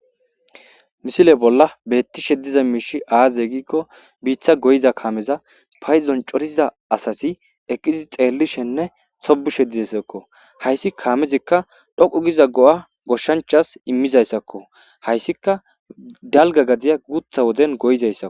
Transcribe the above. Misile bolla beetti sheddiza miishi aaze giikko biitha goyiza kaameza payzon coriza asasi eqqizi xeellishenne sobu shedizassakko hayssi kaamezikka dhoqu giza go'a goshshanchas immizayssakko hayssika dalga gadiya gutha woden goyizayssak.